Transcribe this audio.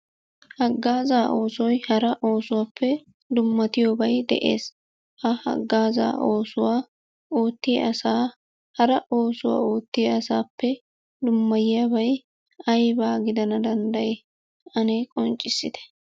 Haggaazaa oosoyi hara oosotuppe dummatiyobayi de'es ha haggaazaa oosuwa oottiya asaa hara oosuwa oottiya asaappe dummatiyobayi aybaa gidana danddayii ane qonccissite?